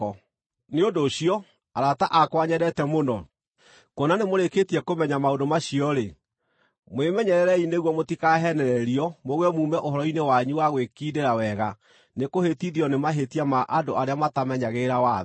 Nĩ ũndũ ũcio, arata akwa nyendete mũno, kuona nĩmũrĩkĩtie kũmenya maũndũ macio-rĩ, mwĩmenyererei nĩguo mũtikaheenererio mũgũe muume ũhoro-inĩ wanyu wa gwĩkindĩra wega nĩ kũhĩtithio nĩ mahĩtia ma andũ arĩa matamenyagĩrĩra watho.